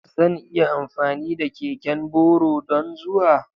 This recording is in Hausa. Zan iya amfani da keken boro don zuwa?